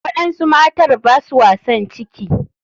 Waɗansu matar baswa san ciki.